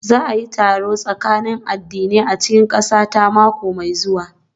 Za a yi taron tsakanin addinai a cikin ƙasata mako mai zuwa